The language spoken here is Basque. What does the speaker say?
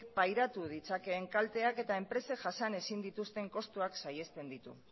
pairatu ditzakeen kalteak eta enpresek jasan ezin dituzten kostuak saihesten ditu